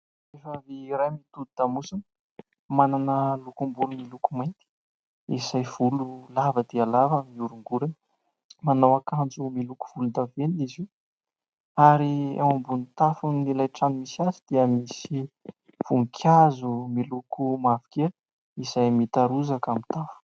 Vehivavy iray mitodi-damosina manana lokom-bolo miloko mainty izay volo lava dia lava ary mioringorina, manao akanjo miloko volondavenona izy io ary ao ambony tafon'ilay trano misy azy dia misy voninkazo miloko mavokely izay mitarozaka amin'ny tany.